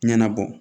Ɲɛnabɔ